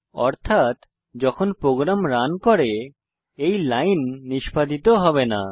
অর্থাত যখন program run করে এই লাইন নিষ্পাদিত হবে না